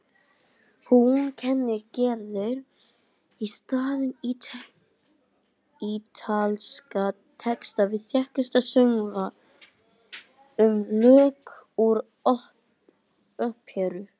Og hún kennir Gerði í staðinn ítalska texta við þekkta söngva og lög úr óperum.